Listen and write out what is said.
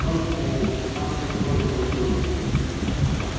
впрочем у у нас они тоже больше водятся